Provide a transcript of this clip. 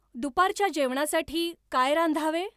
दुपारच्या जेवणासाठी काय रांधावे?